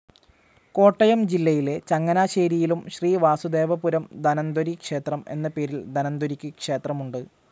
കോട്ടയം ജില്ലയിലെ ചങ്ങനാശേരിയിലും ശ്രീ വാസുദേവപുരം ധന്വന്തരീ ക്ഷേത്രം എന്ന പേരിൽ ധന്വന്തരിക്ക് ക്ഷേത്രമുണ്ട്.